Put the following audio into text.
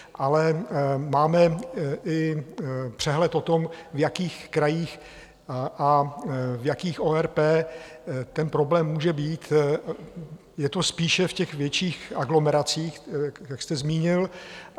Ale máme i přehled o tom, v jakých krajích a v jakých ORP ten problém může být, je to spíše v těch větších aglomeracích, jak jste zmínil.